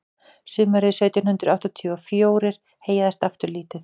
sumarið sautján hundrað áttatíu og fjórir heyjaðist aftur lítið